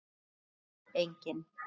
Rauð Spjöld: Engin.